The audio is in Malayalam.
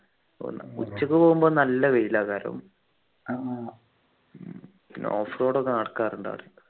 ഉച്ചക്ക് പോകുമ്പോ നല്ല വെയിലാ അവിടെ കാരണം off road ഒക്കെ നടക്കാറുണ്ട് അവിടെ